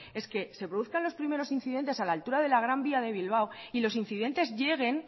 es que se produzcan los primeros incidentes a la altura de la gran vía de bilbao y los incidentes lleguen